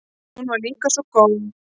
Hún var líka svo góð.